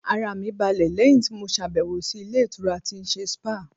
Ara mi balẹ̀ lẹ́yìn tí mo ṣàbẹ̀wò sí ilé ìtura tí ń ṣe spáà.